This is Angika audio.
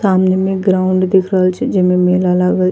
सामने में ग्राउंड दिख रहल छे जेमे मेला लगल --